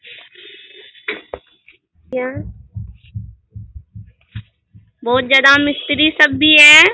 यहाँ बहुत ज्यादा मिस्त्री सब भी है।